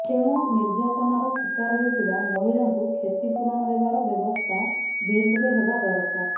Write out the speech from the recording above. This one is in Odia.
ତେଣୁ ନର୍ଯାତନାର ଶିକାର ହେଉଥିବା ମହିଳାଙ୍କୁ କ୍ଷତିପୂରଣ ଦେବାର ବ୍ୟବସ୍ଥା ବିଲ୍ରେ ହେବା ଦରକାର